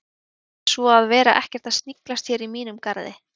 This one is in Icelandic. Mundu það svo að vera ekkert að sniglast hér í mínum garði